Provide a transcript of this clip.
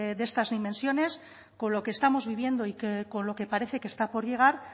de estas dimensiones con lo que estamos viviendo y con lo que parece que está por llegar